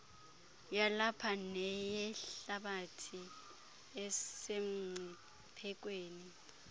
yalapha neyehlabathi esemngciphekweni